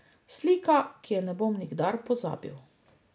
Slika, ki je ne bom nikdar pozabil.